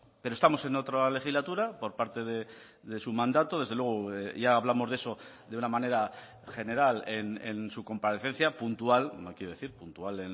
pero estamos en otra legislatura por parte de su mandato desde luego ya hablamos de eso de una manera general en su comparecencia puntual no quiero decir puntual